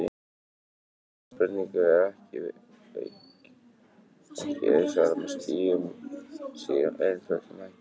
Þessari spurningu er ekki auðsvarað með skýrum og einföldum hætti.